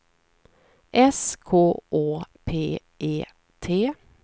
S K Å P E T